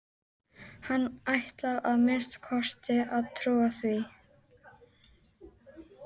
Hann ætlar að minnsta kosti að trúa því.